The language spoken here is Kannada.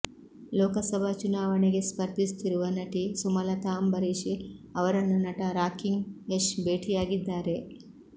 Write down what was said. ಲೋಕಸಭಾ ಚುನಾವಣೆಗೆ ಸ್ಪರ್ಧಿಸುತ್ತಿರುವ ನಟಿ ಸುಮಲತಾ ಅಂಬರೀಶ್ ಅವರನ್ನು ನಟ ರಾಕಿಂಗ್ ಯಶ್ ಭೇಟಿಯಾಗಿದ್ದಾರೆ